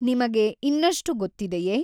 ನಿಮಗೆ ಇನ್ನಷ್ಟು ಗೊತ್ತಿದೆಯೇ?